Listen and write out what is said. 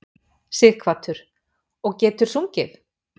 Sighvatur: Og getur sungið?